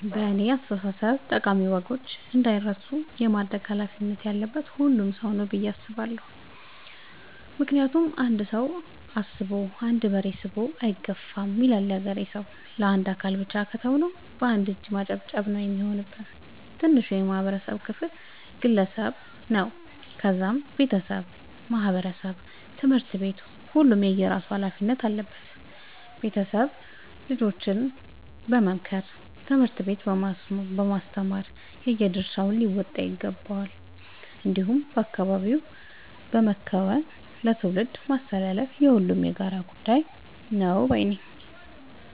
በእኔ አስተሳሰብ ጠቃሚ ወጎች እንዳይረሱ የማድረግ ኃላፊነት ያለበት ሁሉም ሰው ነው። ብዬ ነው የማስበው ምክንያቱም "አንድ ሰው አስቦ አንድ በሬ ስቦ አይገፋም " ይላል ያገሬ ሰው። ለአንድ አካል ብቻ ከተው ነው። በአንድ እጅ ማጨብጨብ ነው የሚሆንብን። ትንሹ የማህበረሰብ ክፍል ግለሰብ ነው ከዛም ቤተሰብ ማህበረሰብ ትምህርት ቤት ሁሉም የየራሱ ኃላፊነት አለበት ቤተሰብ ልጆችን በመምከር ትምህርት ቤት በማስተማር የየድርሻቸውን ሊወጡ ይገባቸዋል። እንዲሁም በአካባቢ በመከወን ለትውልድ ማስተላለፍ የሁሉም የጋራ ጉዳይ ነው ባይነኝ።